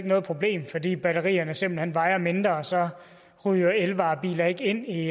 noget problem fordi batterierne simpelt hen vejer mindre og så ryger elvarebiler ikke ind i